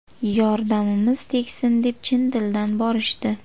Yordamimiz tegsin deb chin dildan borishdi.